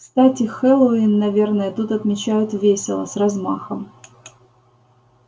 кстати хэллоуин наверное тут отмечают весело с размахом